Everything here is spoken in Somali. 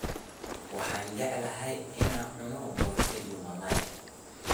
waxan jeclahay inan cuno boshaa iyo malaay.